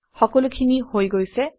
সকলোখিনি হৈ গৈছে